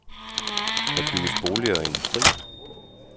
Der bygges boliger og industri.